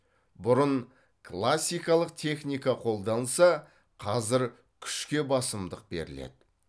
бұрын классикалық техника қолданылса қазір күшке басымдық беріледі